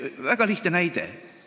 Toon väga lihtsa näite.